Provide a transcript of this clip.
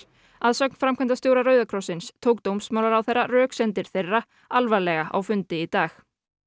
að sögn framkvæmdastjóra Rauða krossins tók dómsmálaráðherra röksemdir þeirra alvarlega á fundi í dag